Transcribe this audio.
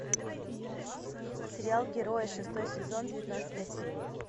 сериал герои шестой сезон девятнадцатая серия